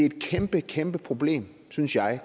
et kæmpe kæmpe demokratisk problem synes jeg